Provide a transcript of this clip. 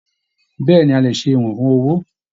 Bẹ̀ẹ́ni, a lè ṣe ìwọ̀n fún owó.